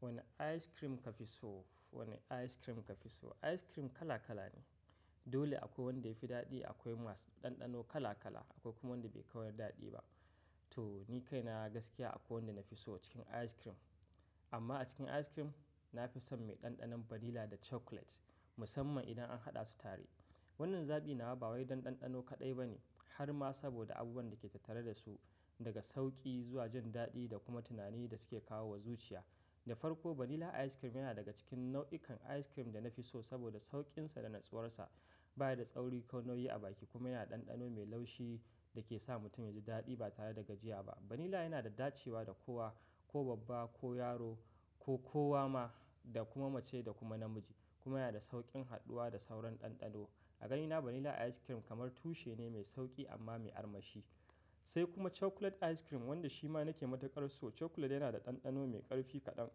Wane ice cream kafi so? Wane ice cream kafi so? Ice cream kala kala ne. Dole akwai wanda yafi daɗi, akwai masu ɗanɗano kala kala. Akwai kuma wanda bai kawar daɗi ba. To ni kai na gaskiya akwai wanda na fi so cikin ice cream. Amma a cikin ice cream, na fi son mai ɗanɗanon vanilla da chocolate musamman idan an haɗa su tare. Wannan zabi nawa ba wai don ɗanɗano kaɗai ba ne har ma saboda abubuwan da ke tattare da su daga sauƙi zuwa jin daɗi da kuma tunani da suke kawo wa zuciya. Da farko vanilla ice cream yana daga cikin nau'ikan ice cream da na fi so saboda sauƙinsa da natsuwarsa. Ba yi da tsauri ko nauyi a baki kuma yana da ɗanɗano mai laushi da ke sa mutum yaji daɗi ba tare da gajiya ba. Vanilla yana da dacewa da kowa ko babba ko yaro ko kowa ma da kuma mace da kuma namiji. Kuma yana da sauƙin haɗuwa da sauran ɗanɗano. A ganina vanilla ice cream kamar tushe ne mai sauƙi amma mai armashi. Sai kuma chocolate ice cream wanda shi ma nake matuƙar so. Chocolate yana da ɗanɗano mai ƙarfi kaɗan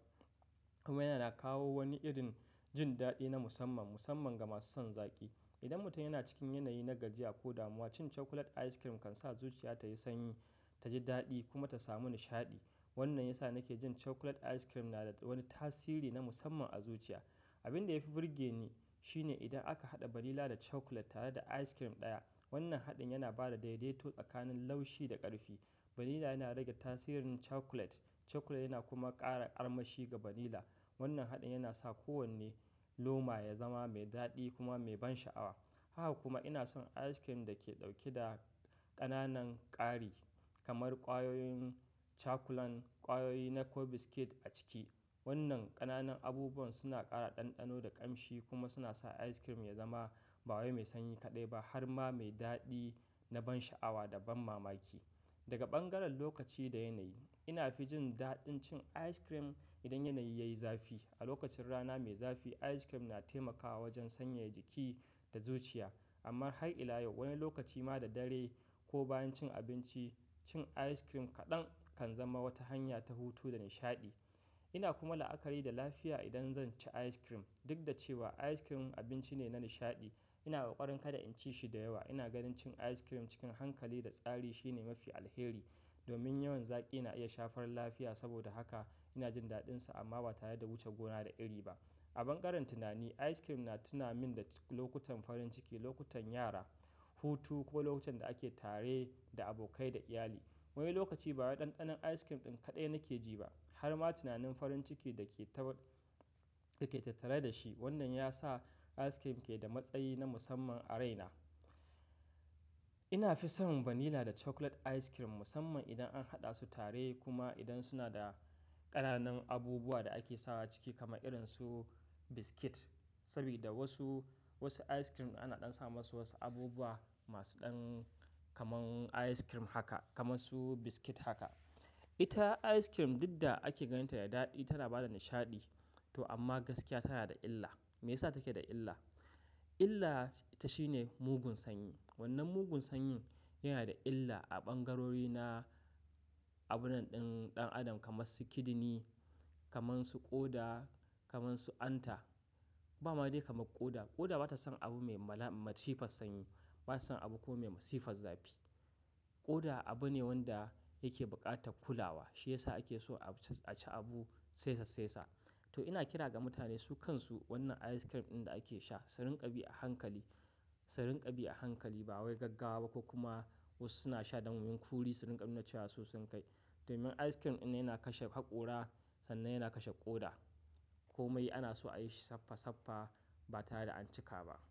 kuma yana kawo wani irin jin daɗi na musamman musamman ga masu son zaƙi. Idan mutum yana cikin yanayi na gajiya ko damuwa cin chocolate ice cream kan sa zuciya ta yi sanyi, ta ji daɗi kuma ta samu nishaɗi. Wannan ya sa nake jin chocolate ice cream na da wani tasiri na musamman a zuciya. Abin da ya fi burge ni shine idan aka haɗa vanilla da chocolate tare da ice cream ɗaya. Wannan haɗin yana ba da daidaito tsakanin laushi da ƙarfi. Vanilla yana rage tasirin chocolate, chocolate yana kuma ƙara armashi ga vanilla. Wannan haɗin yana sa kowane loma ya zama mai daɗi kuma mai ban sha'awa. Haka kuma ina son ice cream da ke ɗauke da ƙananan ƙari kamar ƙwayoyin chakulan, ƙwayoyi na ko biscuit a ciki. Wannan ƙananan abubuwan suna ƙara ɗanɗano da ƙamshi kuma suna sa ice cream ya zama ba wai mai sanyi kaɗai ba har ma mai daɗi na ban sha'awa da ban mamaki. Daga ɓangaren lokaci da yanayi ina fi jin daɗin cin ice cream idan yanayi yayi zafi. A lokacin rana mai zafi ice cream na taimakawa wajen sanyaya jiki da zuciya. Amma har ila yau wani lokaci ma da dare ko bayan cin abinci cin ice cream kaɗan kan zama wata hanya ta hutu da nishaɗi. Ina kuma la'akari da lafiya idan zan ci ice cream. Duk da cewa ice cream abinci ne na nishaɗi ina kokarin kada in ci shi da yawa. Ina ganin cin ice cream cikin hankali da tsari shine mafi alheri. Domin yawan zaƙi na iya shafar lafiya. Saboda haka ina jin daɗinsa amma ba tare da wuce gona da iri ba. A ɓangaren tunani ice cream na tuna min da lokutan farin ciki, lokutan yara, hutu ko lokutan da ake tare da abokai da iyali. Wani lokaci ba wai ɗanɗanon ice cream ɗin kaɗai nake ji ba har ma tunanin farin ciki da ke tattare da shi. Wannan ya sa ice cream ke da matsayi na musamman a raina. Ina fi son vanilla da chocolate ice cream musamman idan an haɗa su tare kuma idan suna da ƙananan abubuwa da ake sawa ciki kamar irin su biscuit. Sabida wasu, wasu ice cream ana ɗan sa masu wasu abubuwa masu ɗan kaman ice cream haka kamar su biscuit haka. Ita ice cream dudda ake ganinta da daɗi tana bada nishaɗi to amma gaskiya tana da illa. Meyasa take da illa? Illa ita shine mugun sanyi. Wannan mugun sanyin yana da illa a ɓangarori na abunnan din ɗan adam kamar su kidini, kamar su ƙoda, kamar su anta. Ba ma dai kamar ƙoda. Ƙoda bata son abu mai mala-- matsifar sanyi. Bata son abu kuma mai matsifar zafi. Ƙoda abu ne wanda yake buƙatar kulawa. Shi ya sa ake so a ci abu saisa saisa. To ina kira ga mutane su kansu wannan ice cream ɗin da ake sha. Su rinƙa bi a hankali, su rinƙa bi a hankali ba wai gaggawa ba ko kuma wasu suna sha don kuri su rinƙa nuna cewa su sun kai. Domin ice cream innan yana kashe haƙora sannan yana kashe ƙoda. Komai ana so a yi shi saffa saffa ba tare da an cika ba.